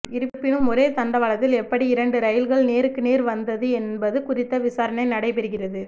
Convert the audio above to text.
இருப்பினும் ஒரே தண்டவாளத்தில் எப்படி இரண்டு ரயில்கள் நேருக்கு நேர் வந்தது என்பது குறித்த விசாரணை நடைபெறுகிறது